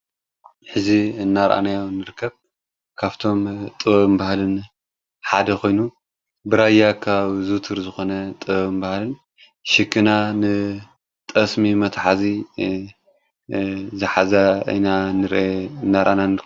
እዚ እናርኣናዮ ንርከብ ካፍቶም ጥበብንባህልን ሓደ ኾይኑ ብራያ ከባቢ ዙውትር ዝኾነ ጥበብበህልን ሽክና ንጠስሚ መትሓዚ ዝሓዛ አይና ንናራእና ንርከብ